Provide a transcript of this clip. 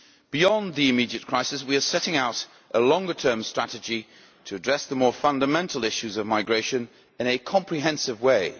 Beyond the immediate crisis we are setting out a longer term strategy to address the more fundamental issues of migration in a comprehensive way.